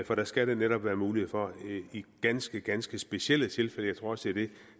for det skal netop være muligt i ganske ganske specielle tilfælde jeg tror også at det